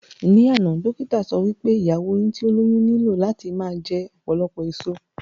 Ní àná, dókítà sọ wí pé ìyàwó yín tí ó lóyún nílò láti máa jẹ ọ̀pọ̀lọpọ̀ èso